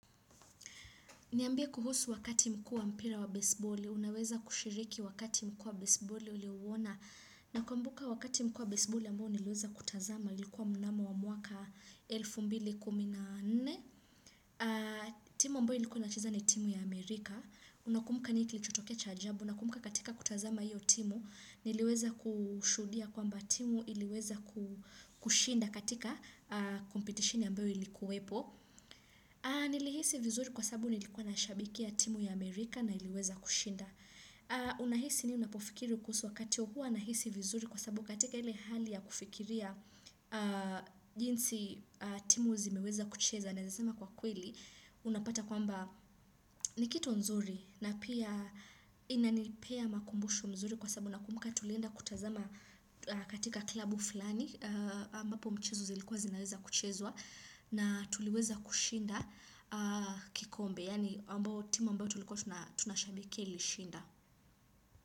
Niambie kuhusu wakati mkuu wa mpira wa basebali, unaweza kushiriki wakati mkuu wa basebali uliouna? Nakumbuka wakati mkuu wa basebali ambao niliweza kutazama ilikuwa mnamo wa mwaka elfu mbili na kumi na nne, timu ambayo ilikuwa inacheza ni timu ya Amerika, Unakumuka nini kili chotokea cha ajabu? Nakumuka katika kutazama hiyo timu. Niliweza kushudia kwamba, timu iliweza kushinda katika kompetisheni ambayo ilikuwepo, nilihisi vizuri kwa sabu nilikuwa na shabikia timu ya Amerika na iliweza kushinda. Unahisi nini unapofikiri kuhusu wakati huo? Hua nahisi vizuri kwa sabu katika ile hali ya kufikiria. Jinsi, timu zimeweza kucheza naezasema kwa kweli. Unapata kwamba, nikitu nzuri. Na pia, inanipea makumbusho mzuri kwa sabu na kumuka tulienda kutazama katika klabu fulani, ambapo mchezo zilikuwa zinaweza kuchezwa, na tuliweza kushinda. Kikombe, yaani timu ambao tuliko tunashabikia ilishinda.